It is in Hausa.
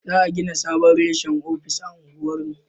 Za a gina sabon reshen ofis a unguwar mu